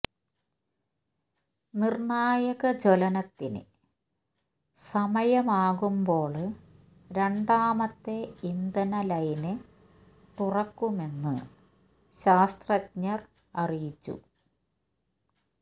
നിര്ണായക ജ്വലനത്തിന് സമയമാകുമ്പോള് രണ്ടാമത്തെ ഇന്ധന ലൈന് തുറക്കുമെന്ന് ശാസ്ത്രജ്ഞര് അറിയിച്ചു